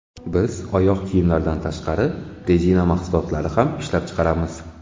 Biz oyoq kiyimlardan tashqari, rezina mahsulotlari ham ishlab chiqaramiz.